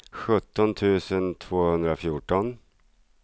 sjutton tusen tvåhundrafjorton